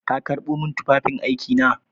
Ka karɓo min tufafin aiki na?